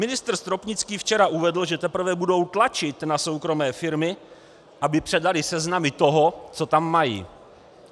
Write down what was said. Ministr Stropnický včera uvedl, že teprve budou tlačit na soukromé firmy, aby předaly seznamy toho, co tam mají.